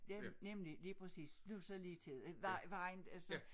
Ja nemlig lige præcis det jo så lige til nej vejen efter